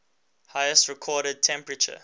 highest recorded temperature